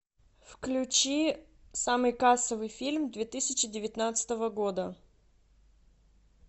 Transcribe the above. включи самый кассовый фильм две тысячи девятнадцатого года